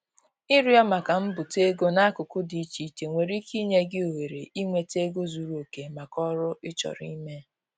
Ịrịọ maka mbute ego n'akụkụ dị iche iche nwere ike inye gị ohere inweta ego zuru oke maka oru ị chọrọ ime.